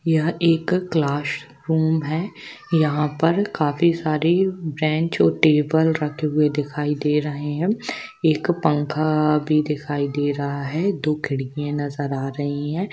यह एक क्लासरूम है यहाँ पर काफी सारे बेंच और टेबल रखे हुए दिखाई दे रहे है एक पंखा भी दिखाई दे रहा है दो खिड़कि नजर आ रही है।